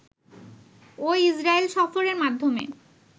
ও Israel সফরের মাধ্যমে